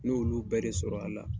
N' olu bɛɛ de sɔrɔ a la.